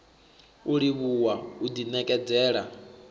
u livhuwa u ḓi ṋekedzela